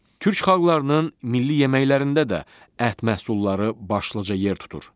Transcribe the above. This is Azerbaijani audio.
Türk xalqlarının milli yeməklərində də ət məhsulları başlıca yer tutur.